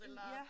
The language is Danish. Mh ja